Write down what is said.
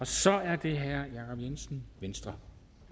så er det herre jacob jensen venstre